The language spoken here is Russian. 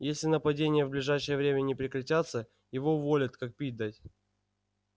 если нападения в ближайшее время не прекратятся его уволят как пить дать